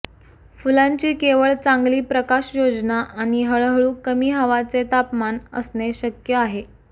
फुलांची केवळ चांगली प्रकाशयोजना आणि हळूहळू कमी हवाचे तापमान असणे शक्य आहे